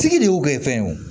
Sigi de y'o kɛ fɛn ye wo